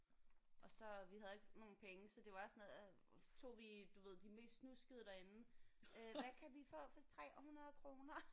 Og så vi havde ikke nogen penge så det var sådan noget så tog vi du ved de mest snuskede derinde. Øh hvad kan vi få for 300 kroner?